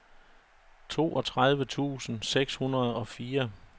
toogtredive tusind seks hundrede og fire